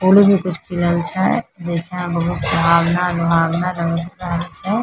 फू- उल कुछ खिलल छै देखे में बहुत सुहावना रुहावना लग रहल छै।